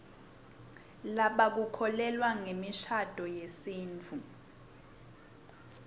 lebakukholelwa ngemishadvo yesitfu